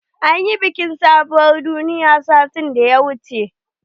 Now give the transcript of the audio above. An ƴi biki na sabuwar doya sati da ya wuche.